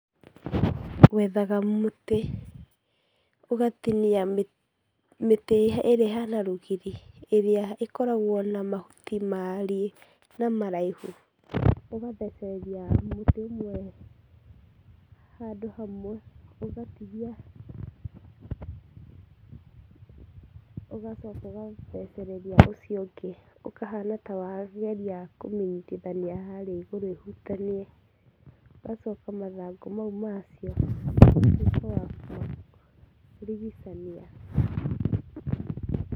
Wethaga mutĩ ũgatinia mĩtĩ ĩrĩa ĩhana rũgiri ĩrĩa ĩkoragwo na mahuti maariĩ na maraihu. ũgathecereria mĩtĩ ĩmwe handũ hamwe, ũgacooka ũgathecereria ũcio ũngĩ ũkahaana ta wageria kũmĩnyitithania harĩa igũrũ ĩhutanie ũgacooka mathangũ mau ũtuĩke wa kũmarigicania.